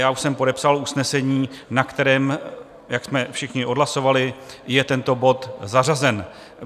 Já už jsem podepsal usnesení, na kterém, jak jsme všichni odhlasovali, je tento bod zařazen.